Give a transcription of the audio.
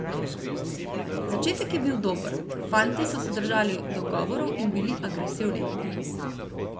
Začetek je bil dober, fantje so se držali dogovorov in bili agresivni.